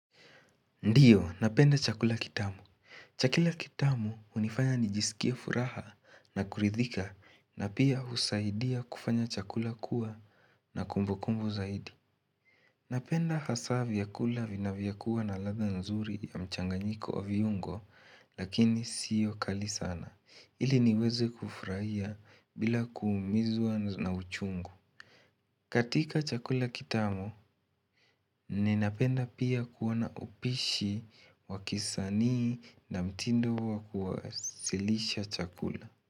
Ndiyo, napenda chakula kitamu. Chakula kitamu hunifanya nijisikie furaha na kuridhika na pia husaidia kufanya chakula kuwa na kumbu kumbu zaidi. Napenda hasa vyakula vinavyokua na ladha nzuri ya mchanganyiko wa viungo lakini siyo kali sana ili niweze kufurahia bila kuumizwa na uchungu. Katika chakula kitamu, ninapenda pia kuona upishi wa kisanii na mtindo wa kuwasilisha chakula.